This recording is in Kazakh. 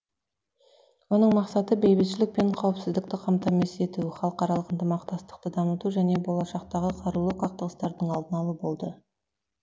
оның мақсаты бейбітшілік пен қауіпсіздікті қамтамасыз ету халықаралық ынтымақтастықты дамыту және болашақтағы қарулы қақтығыстардың алдын алу болды